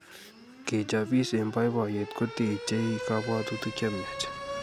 Kechopis eng boiboiyet kotechei kapwotutik chemiach